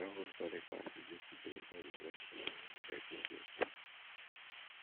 the bible study class we do today dey interesting i learn plenty things